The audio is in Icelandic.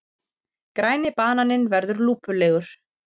Græni bananinn verður lúpulegur.